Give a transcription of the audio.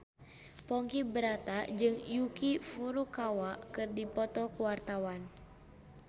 Ponky Brata jeung Yuki Furukawa keur dipoto ku wartawan